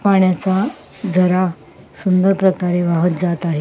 पाण्याचा झरा सुंदर प्रकारे वाहत जात आहे.